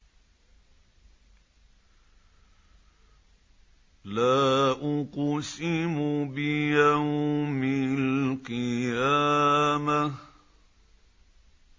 لَا أُقْسِمُ بِيَوْمِ الْقِيَامَةِ